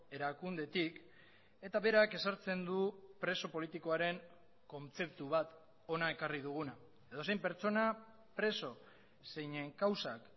erakundetik eta berak ezartzen du preso politikoaren kontzeptu bat hona ekarri duguna edozein pertsona preso zeinen kausak